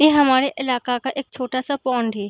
ये हमारे इलाका का एक छोटा-सा पौंड है।